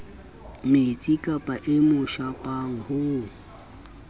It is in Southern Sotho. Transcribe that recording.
metsikapa e mo shapang ho